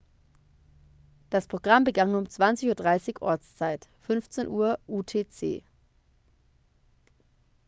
das programm begann um 20:30 ortszeit 15:00 utc